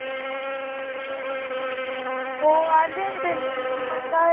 हो आलेले ते mumbai ला